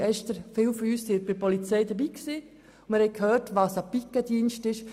Gestern waren viele von uns bei der Polizeiveranstaltung dabei, und wir haben gehört, was ein Pikettdienst ist.